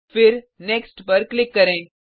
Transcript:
फिर नेक्स्ट पर क्लिक करें